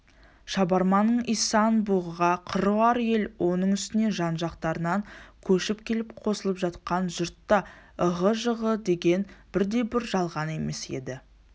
шабарманның исан-бұғыға қыруар ел оның үстіне жан-жақтарынан көшіп келіп қосылып жатқан жұрт та ығы-жығыдегені бірде-бір жалған емес еді